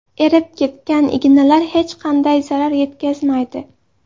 Erib ketgan ignalar hech qanday zarar yetkazmaydi.